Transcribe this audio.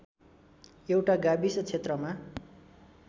एउटा गाविस क्षेत्रमा